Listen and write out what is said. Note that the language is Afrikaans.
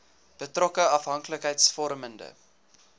betrokke afhanklikheids vormende